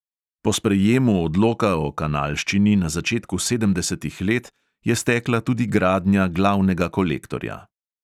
Po sprejemu odloka o kanalščini na začetku sedemdesetih let je stekla tudi gradnja glavnega kolektorja.